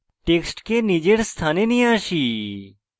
টেক্সটকে নিজের স্থানে নিয়ে আসি